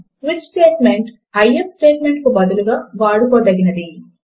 switch statement if statement కు బదులుగా వాడుకోగలిగినది